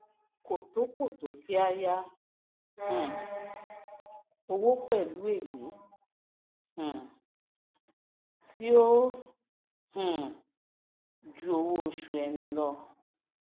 kò tó kò tó kí á yá um owó pèlú èlé tí ó um ju owó osù ẹni lọ